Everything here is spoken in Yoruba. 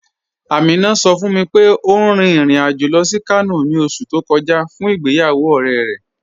Aminà sọ̀ fún mi pé ó rìn ìrìn-àjọ̀ lọ sí Kànò ni ọ̀ṣù tó kọja fún ìgbéyàwó ọ̀rẹ̀ rẹ.